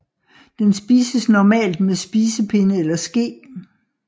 Den spises normalt med spisepinde eller ske